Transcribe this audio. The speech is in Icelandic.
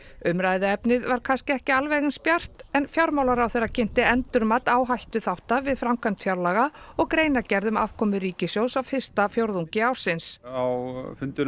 umræðuefnið var kannski ekki alveg eins bjart en fjármálaráðherra kynnti endurmat áhættuþátta við framkvæmd fjárlaga og greinargerð um afkomu ríkissjóðs á fyrsta fjórðungi ársins á fundinum